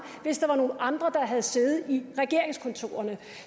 hvis der var nogle andre der havde siddet i regeringskontorerne